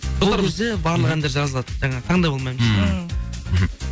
барлық әндер жазылады жаңағы таңдап алмаймыз ммм мхм